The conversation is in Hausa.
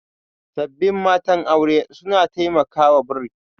Sabbin matan aure suna taimakawa bri